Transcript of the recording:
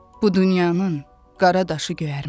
Bu dünyanın qara daşı göyərməz.